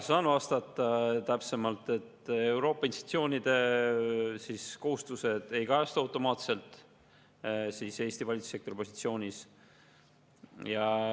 Saan vastata täpsemalt, et Euroopa institutsioonide kohustused ei kajastu automaatselt Eesti valitsussektori positsioonis.